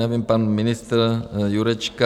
Nevím, pan ministr Jurečka...